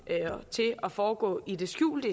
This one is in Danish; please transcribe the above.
til at foregå i det skjulte